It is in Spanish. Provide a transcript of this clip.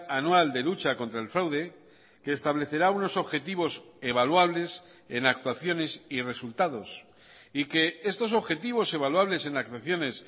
anual de lucha contra el fraude que establecerá unos objetivos evaluables en actuaciones y resultados y que estos objetivos evaluables en actuaciones